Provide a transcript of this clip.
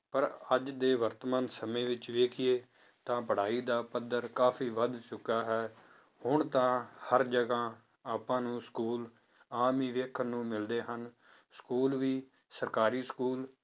ਪਰ ਅੱਜ ਦੇ ਵਰਤਮਾਨ ਸਮੇਂ ਵਿੱਚ ਵੇਖੀਏ ਤਾਂ ਪੜ੍ਹਾਈ ਦਾ ਪੱਧਰ ਕਾਫ਼ੀ ਵੱਧ ਚੁੱਕਾ ਹੈ, ਹੁਣ ਤਾਂ ਹਰ ਜਗ੍ਹਾ ਆਪਾਂ ਨੂੰ school ਆਮ ਹੀ ਵੇਖਣ ਨੂੰ ਮਿਲਦੇ ਹਨ school ਵੀ ਸਰਕਾਰੀ school